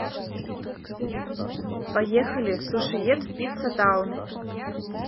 поехали сушиед пицца таун